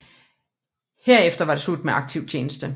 Herefter var det slut med aktiv tjeneste